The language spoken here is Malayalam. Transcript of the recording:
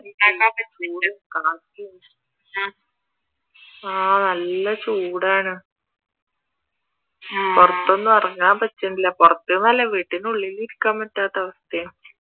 ആഹ് നല്ല ചൂടാണ് പുറത്തൊന്നും ഇറങ്ങാൻ പറ്റണില്ല പുറത്തെന്നല്ല വീടിന്റെ ഉള്ളിൽ ഇരിക്കാൻ പറ്റാത്ത അവസ്ഥയാ